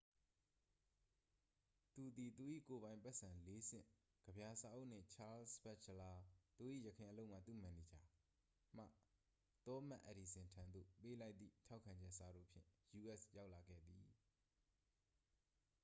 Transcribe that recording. သူသည်၊ သူ၏ ကိုယ်ပိုင်ပိုက်ဆံ ၄ ဆင့် ၊ ကဗျာစာအုပ်နှင့် ချားလ်စ်ဘတ်ချလာ သူ၏ ယခင်အလုပ်မှ သူ့မန်နေဂျာ မှ သောမတ်အက်ဒီဆင်ထံသို့ ပေးလိုက်သည့် ထောက်ခံချက်စာတို့ဖြင့် ယူအက်စ်ရောက်လာခဲ့သည်။